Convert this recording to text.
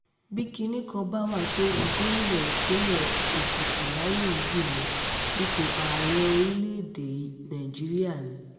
bí kinní kan bá wà tó wu gómìnà ìpínlẹ̀ èkìtì láyé yìí jù lọ ipò ààrẹ orílẹ̀-èdè nàíjíríà ni